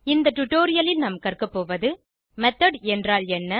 இந்த டுடோரியலில் நாம் கற்கபோவது மெத்தோட் என்றால் என்ன